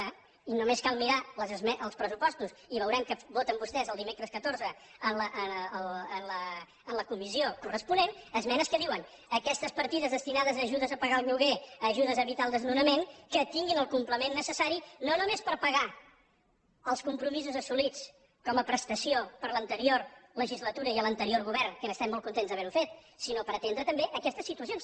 i només cal mirar els pressupostos i veurem què voten vostès el dimecres catorze en la comissió corresponent esmenes que diuen aquestes partides destinades a ajudes per pagar el lloguer ajudes a evitar el desnonament que tinguin el complement necessari no només per pagar els compromisos assolits com a prestació per l’anterior legislatura i a l’anterior govern que n’estem molt contents d’haver ho fet sinó per atendre també aquestes situacions